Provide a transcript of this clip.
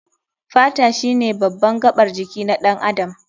Fata shine baban gabar jiki na ɗan adam.